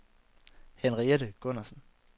Henriette Gundersen